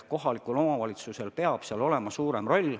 Kohalikul omavalitsusel peab selles olema suurem roll.